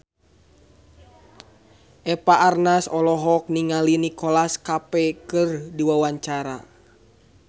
Eva Arnaz olohok ningali Nicholas Cafe keur diwawancara